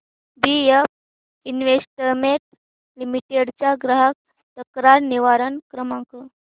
BF investment limited चा ग्राहक तक्रार निवारण क्रमांक